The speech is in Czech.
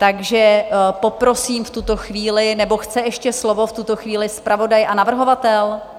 Takže poprosím v tuto chvíli - nebo chce ještě slovo v tuto chvíli zpravodaj a navrhovatel?